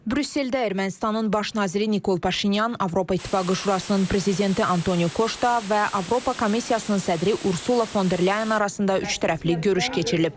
Brüsseldə Ermənistanın baş naziri Nikol Paşinyan, Avropa İttifaqı Şurasının prezidenti Antonio Koşta və Avropa Komissiyasının sədri Ursula Fon der Leyen arasında üçtərəfli görüş keçirilib.